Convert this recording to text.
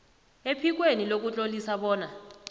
ephikweni lokutlolisa bona